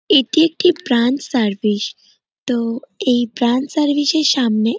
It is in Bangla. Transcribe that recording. এটি একটি প্রাণ সার্ভিস তো এই প্রাণ সার্ভিস -এর সামনে--